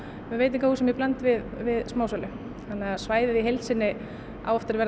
með veitingahúsum í bland við smásölu þannig að svæðið í heild sinni á eftir að verða